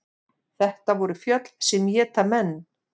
Þetta voru fjöll sem éta menn.